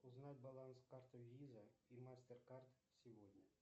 узнать баланс карты виза и мастер кард сегодня